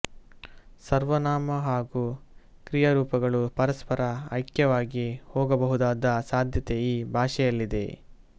ಸರ್ವನಾಮ ಹಾಗೂ ಕ್ರಿಯಾರೂಪಗಳು ಪರಸ್ಪರ ಐಕ್ಯವಾಗಿ ಹೋಗಬಹುದಾದ ಸಾಧ್ಯತೆ ಈ ಭಾಷೆಯಲ್ಲಿದೆ